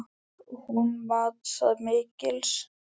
Hún mat það mikils.